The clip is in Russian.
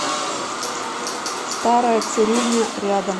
старая цирюльня рядом